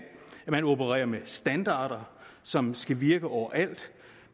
at man opererer med standarder som skal virke overalt